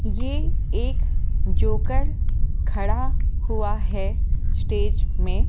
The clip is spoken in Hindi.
ये एक जोकर खड़ा हुआ है स्टेज में।